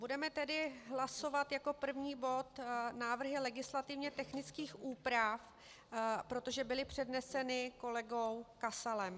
Budeme tedy hlasovat jako první bod návrhy legislativně technických úprav, protože byly předneseny kolegou Kasalem.